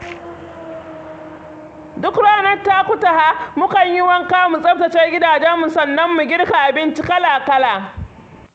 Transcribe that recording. Duk ranar Takutaha, mukan yi wanka mu tsaftace gidajenmu sannan mu girka abinci kala-kala.